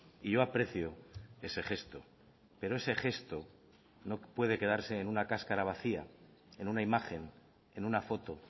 y yo aprecio ese gesto pero ese gesto no puede quedarse en una cáscara vacía en una imagen en una foto